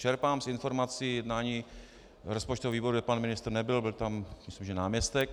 Čerpám z informací jednání rozpočtového výboru, kde pan ministr nebyl, byl tam myslím že náměstek.